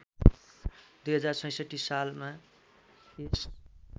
२०६६ सालमा यस